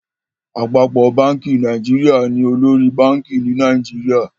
Àpapọ bánkì Nàìjíríà ní olórí bank ní Nàìjíríà.